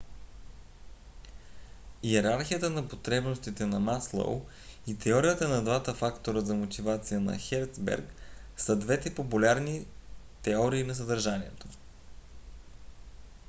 йерархията на потребностите на маслоу и теорията на двата фактора за мотивация на херцберг са двете популярни теории на съдържанието